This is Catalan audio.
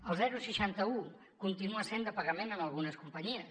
el seixanta un continua sent de pagament en algunes companyies